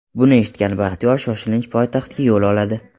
Buni eshitgan Baxtiyor shoshilinch poytaxtga yo‘l oladi.